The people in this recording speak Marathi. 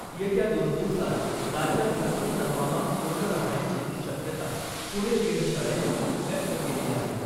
येत्या दोन दिवसात राज्यात सर्वत्र हवामान कोरडं राहण्याची शक्यता पुणे वेधशाळेनं व्यक्त केली आहे .